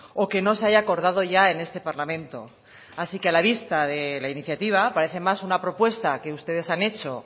o que no se haya acordado ya en este parlamento así que a la vista de la iniciativa parece más una propuesta que ustedes han hecho